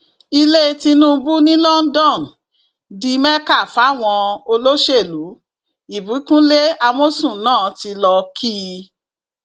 ilẹ tìǹbù ní london di mẹka fáwọn olóṣèlú ìbíkúnlẹ amọsùn náà tí lọọ kí i